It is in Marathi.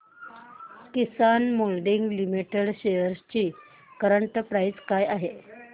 किसान मोल्डिंग लिमिटेड शेअर्स ची करंट प्राइस काय आहे